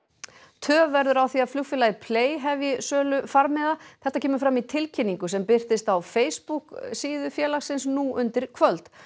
töf verður á því að flugfélagið hefji sölu farmiða þetta kemur fram í tilkynningu sem birtist á Facebook síðu félagsins nú undir kvöld